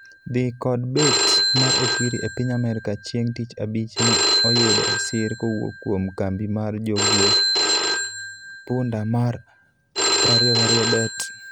dhi kod bet mar Okwiri e piny Amerika chieng tich abich ne oyudo sir kowuok kuom kambi mar jogwe punda mar 22Bet